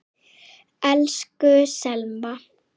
Elsku Selma.